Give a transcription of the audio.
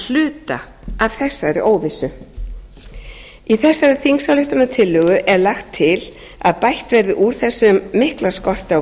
hluta af þessari óvissu í þessari þingsályktunartillögu er lagt til að bætt verði úr þessum mikla skorti á